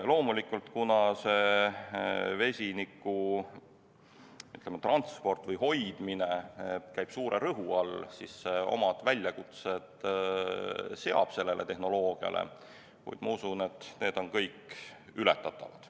Loomulikult, kuna vesiniku transport ja hoidmine käib suure rõhu all, siis see seab tehnoloogiale omad väljakutsed, kuid ma usun, et need kõik on ületatavad.